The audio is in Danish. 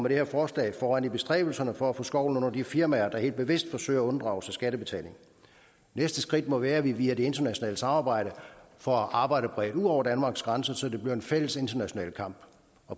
her forslag foran i bestræbelserne for at få skovlen under de firmaer der helt bevidst forsøger at unddrage sig skattebetaling næste skridt må være at vi via det internationale samarbejde får arbejdet bredt ud over danmarks grænser så det bliver en fælles international kamp